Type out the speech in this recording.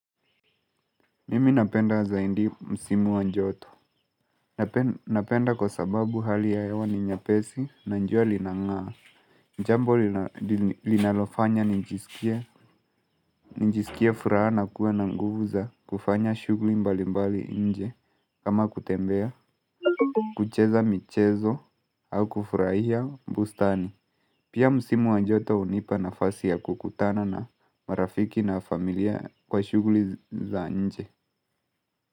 Mimi napenda zaidi msimu wa njoto. Napenda kwa sababu hali ya hewa ni nyepesi na jua linangaa. Jambo linalofanya nijiskia furaha na kuwa na nguvu za kufanya shughli mbali mbali nje kama kutembea. Kucheza michezo au kufurahia bustani. Pia msimu wa joto hunipa nafasi ya kukutana na marafiki na familia kwa shughli za nje.